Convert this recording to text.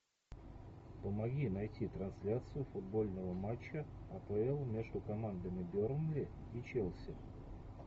помоги найти трансляцию футбольного матча апл между командами бернли и челси